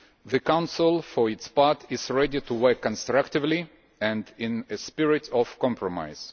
The Council, for its part, is ready to work constructively and in a spirit of compromise.